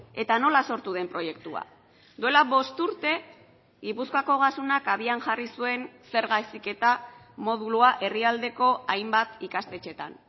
eta nola sortu den proiektua duela bost urte gipuzkoako ogasunak abian jarri zuen zerga heziketa modulua herrialdeko hainbat ikastetxeetan